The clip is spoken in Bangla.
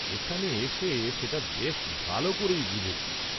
এখানে এসে সেটা বেশ ভাল ক’রেই বুঝেছি।